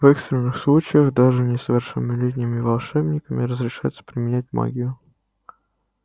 в экстренных случаях даже несовершеннолетними волшебниками разрешается применять магию